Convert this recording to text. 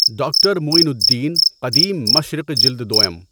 doctor Moin Uddin, قدیم مشرق جلد دؤم